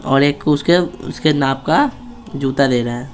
और एक को उसके उसके नाप का जूता दे रहा है।